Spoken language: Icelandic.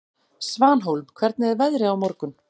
Svanhólm, hvernig er veðrið á morgun?